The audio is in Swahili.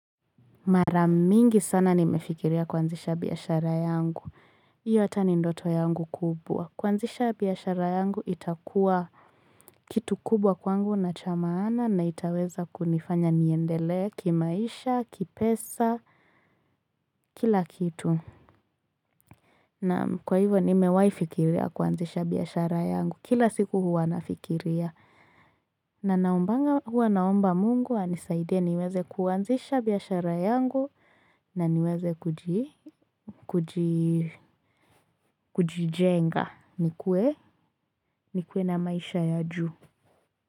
Mara mingi sana nimefikiria kuanzisha biashara yangu. Hiyo hata ni ndoto yangu kubwa. Kuanzisha biashara yangu itakuwa kitu kubwa kwangu na cha maana na itaweza kunifanya niendele kimaisha, kipesa, kila kitu. Na kwa hivyo nimewahi fikiria kuanzisha biashara yangu. Kila siku huwa nafikiria. Na naombanga huwa naomba Mungu, anisaide niweze kuanzisha biashara yangu na niweze kujijenga nikuwe na maisha ya Uju.